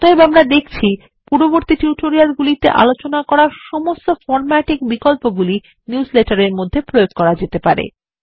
অতএব আমরা দেখছি পূর্ববর্তী টিউটোরিয়াল এ আলোচনা করা সমস্ত ফর্ম্যাটিং বিকল্পগুলি নিউজলেটার এর মধ্যে প্রয়োগ করা যেতে পারে